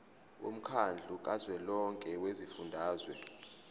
womkhandlu kazwelonke wezifundazwe